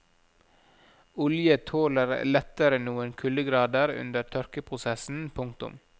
Olje tåler lettere noen kuldegrader under tørkeprosessen. punktum